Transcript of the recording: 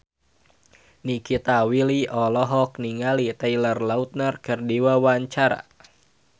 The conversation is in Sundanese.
Nikita Willy olohok ningali Taylor Lautner keur diwawancara